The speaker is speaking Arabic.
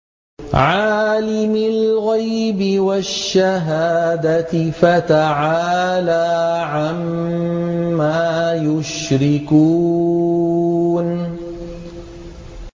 عَالِمِ الْغَيْبِ وَالشَّهَادَةِ فَتَعَالَىٰ عَمَّا يُشْرِكُونَ